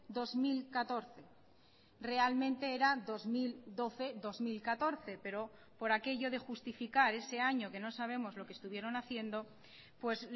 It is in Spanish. dos mil catorce realmente era dos mil doce dos mil catorce pero por aquello de justificar ese año que no sabemos lo que estuvieron haciendo pues